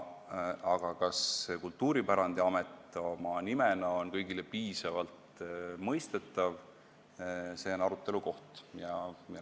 Aga kas see Kultuuripärandiamet nimena on kõigile piisavalt mõistetav, on arutelu koht.